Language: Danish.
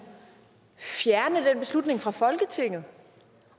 fjerne den beslutning fra folketinget